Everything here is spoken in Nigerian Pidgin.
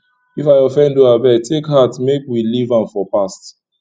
if i offend you abeg take heart make we leave am for past